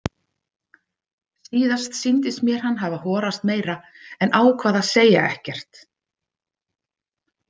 Síðast sýndist mér hann hafa horast meira, en ákvað að segja ekkert.